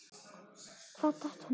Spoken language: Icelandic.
Hvað datt honum í hug?